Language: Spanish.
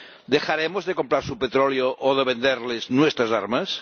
¿Dejaremos de comprar su petróleo o de venderles nuestras armas?